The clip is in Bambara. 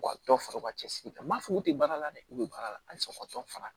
U ka dɔ fara u ka cɛsiri kan n ma fɔ k'u tɛ baara la dɛ u bɛ baara la halisa ka dɔ fara